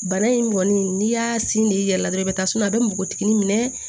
Bana in kɔni n'i y'a sin de i yɛrɛ la dɔrɔn i bɛ taa suma a bɛ npogotiginin minɛ